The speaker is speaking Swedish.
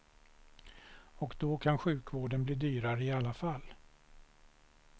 Och då kan sjukvården bli dyrare i alla fall.